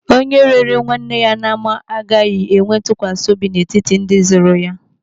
Onye rere nwanne ya n'ama agaghị enwe ntụkwasị obi n'etiti ndị zụrụ ya.